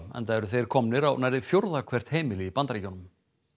enda eru þeir komnir á nærri fjórða hvert heimili í Bandaríkjunum